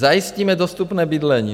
Zajistíme dostupné bydlení.